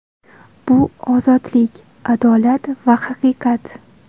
Bu ozodlik, adolat va haqiqat”.